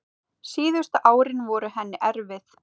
Síðustu árin voru henni erfið.